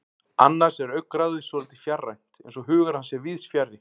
Annars er augnaráðið svolítið fjarrænt, eins og hugur hans sé víðsfjarri.